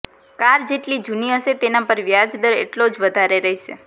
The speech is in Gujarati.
કાર જેટલી જુની હશે તેના પર વ્યાજ દર એટલો જ વધારે રહેશે